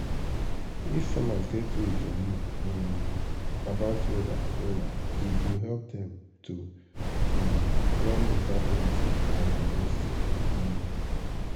if farmers get way to know um about weather wella e go help dem to um plan beta planting and harvesting. um